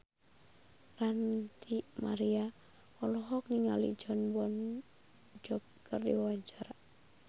Ranty Maria olohok ningali Jon Bon Jovi keur diwawancara